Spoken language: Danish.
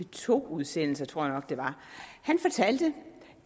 to udsendelser tror jeg nok det var han fortalte